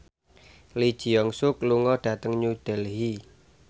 Lee Jeong Suk lunga dhateng New Delhi